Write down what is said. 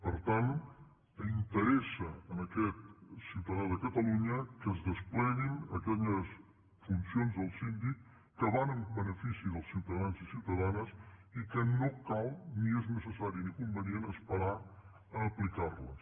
per tant interessa a aquest ciutadà de catalunya que es despleguin aquelles funcions del síndic que van en benefici dels ciutadans i ciutadanes i no cal ni és necessari ni convenient esperar a aplicarles